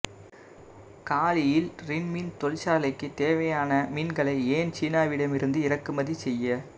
காலியில் ரின் மீன் தொழிற்சாலைக்கு தேவையான மீன்களை ஏன் சீனாவிடமிருந்து இறக்குமதி செய்ய